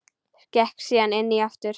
Gekk síðan inn fyrir aftur.